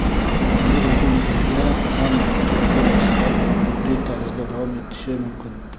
yangi o‘quv yilida ham maktablarda darslar gibrid tarzda davom etishi mumkin.